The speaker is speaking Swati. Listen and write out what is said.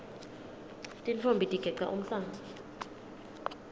tintfombi tigeca umhlanga